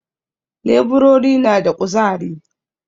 Leburori na da ƙuzari